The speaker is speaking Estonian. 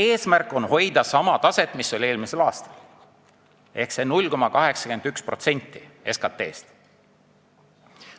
Eesmärk on hoida sama taset, mis oli eelmisel aastal: see on 0,81% SKT-st.